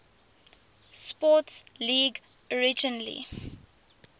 sports league originally